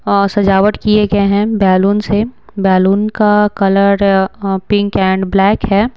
अ सजावट किए गए हैं बैलून से बैलून का कलर पिंक एंड ब्लैक है।